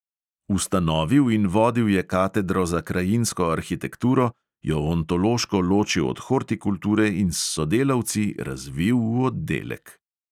Ustanovil in vodil je katedro za krajinsko arhitekturo, jo ontološko ločil od hortikulture in s sodelavci razvil v oddelek.